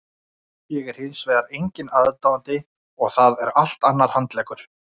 Ég er hins vegar enginn aðdáandi og það er allt annar handleggur.